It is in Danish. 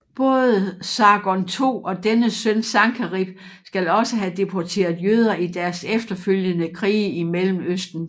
Både Sargon II og dennes søn Sankerib skal også have deporteret jøder i deres efterfølgende krige i Mellemøsten